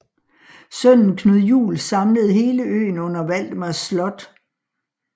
Sønnen Knud Juel samlede hele øen under Valdemars Slot